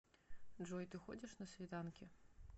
джой ты ходишь на свиданки